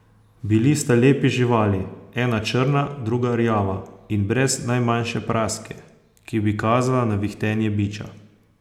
Bili sta lepi živali, ena črna, druga rjava, in brez najmanjše praske, ki bi kazala na vihtenje biča.